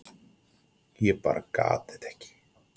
Ég bara gat þetta ekki.